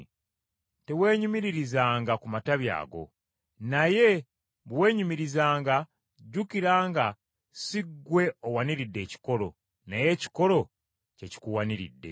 teweenyumiririzanga ku matabi ago; naye bwe weenyumirizanga, jjukira nga si gwe owaniridde ekikolo, naye ekikolo kye kikuwaniridde.